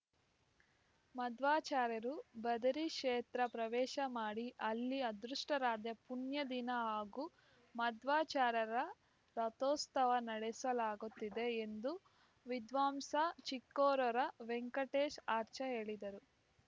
ಮಧ್ವಾಚಾರ್ಯರು ಬದರಿ ಕ್ಷೇತ್ರ ಪ್ರವೇಶ ಮಾಡಿ ಅಲ್ಲಿ ಅದೃಷ್ಟರಾದೆ ಪುಣ್ಯದಿನ ಹಾಗು ಮಧ್ವಾಚಾರರ ರಥೋತ್ಸವ ನಡೆಸಲಾಗುತ್ತಿದೆ ಎಂದು ವಿದ್ವಾಂಸ ಚಿಕ್ಕೇರೂರ ವೆಂಕಟೇಶ್‌ ಆಚಾರ್‌ ಹೇಳಿದರು